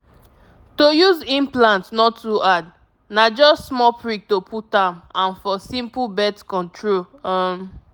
to use implant no too hard na just small prick to put am and for simple birth control. um.